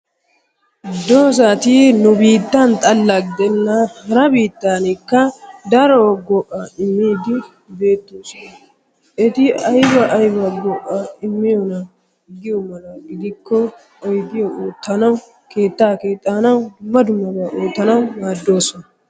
Dozzati nu biittan xalla gidenna hara biittaanikka daro go'aa immiiddi beettoosona. Eti ayba ayba go'aa immiyoonaa giyo mala gidikko oyidiyaa oottanawu keettaa keexxanawu dumma dummabaa oottanawu maaddoosona.